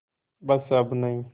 बस अब नहीं